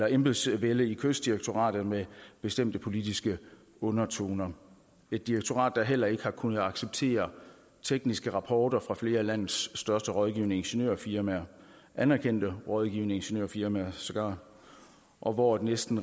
embedsvælde i kystdirektoratet med bestemte politiske undertoner et direktorat der heller ikke har kunnet acceptere tekniske rapporter fra flere af landets største rådgivende ingeniørfirmaer anerkendte rådgivende ingeniørfirmaer sågar og hvor det næsten